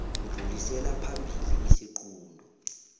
dlulisela phambili isiqunto